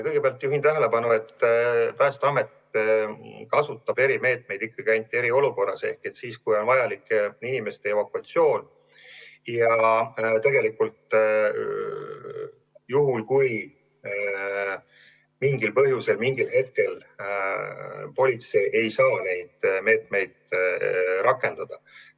Kõigepealt juhin tähelepanu, et Päästeamet rakendab erimeetmeid ikkagi ainult eriolukorras ehk siis, kui on vajalik inimeste evakuatsioon ja juhul, kui mingil põhjusel mingil hetkel politsei ei saa neid meetmeid rakendada.